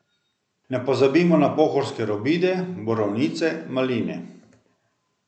Ne pozabimo na pohorske robide, borovnice, maline.